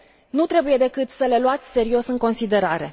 nu trebuie decât să le luați serios în considerare.